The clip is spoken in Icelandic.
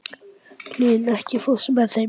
Hlín, ekki fórstu með þeim?